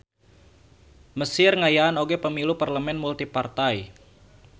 Mesir ngayaan oge pamilu parlemen multipartai.